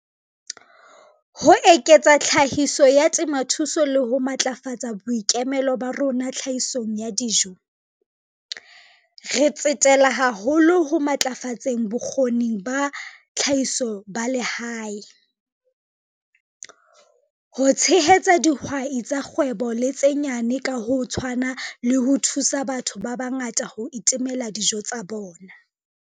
Ho eketsa tlhahiso ya temothuo le ho matlafatsa boikemelo ba rona tlhahisong ya dijo, re tsetela haholo ho ntlafatseng bokgoni ba tlhahiso ba lehae, ho tshehetsa dihwai tsa kgwebo le tse nyane ka ho tshwana le ho thusa batho ba bangata ho itemela dijo tsa bona.